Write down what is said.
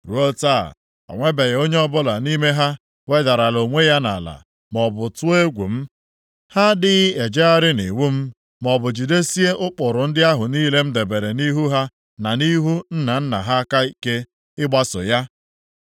Ruo ụbọchị taa, o nwebeghị onye ọbụla nʼime ha wedarala onwe ya ala, maọbụ tụọ egwu m; ha adịghị ejegharị nʼiwu m, maọbụ jidesie ụkpụrụ ndị ahụ niile m debere nʼihu ha na nʼihu nna nna ha aka ike, ịgbaso ya.